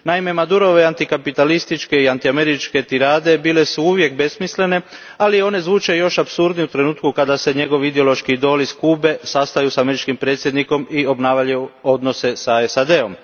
Naime, Madurove antikapitalističke i antiameričke tirade bile su uvijek besmislene, ali one zvuče još apsurdnije u trenutku kada se njegovi ideološki idoli s Kube sastaju s američkim predsjednikom i obnavljaju odnose s SAD om.